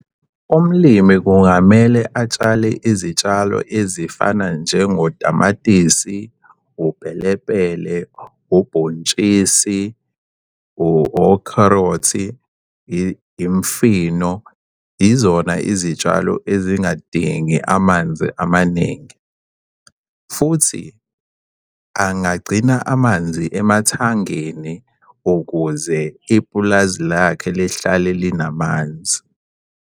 Umlimi kungamele atshale izitshalo ezifana njengotamatisi, upelepele, ubhontshisi, okherothi, imfino. Izona izitshalo ezingadingi amanzi amaningi futhi angagcina amanzi emathangeni ukuze ipulazi lakhe lihlale linamanzi.